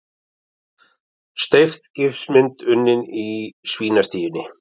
Steypt gifsmynd unnin í svínastíunni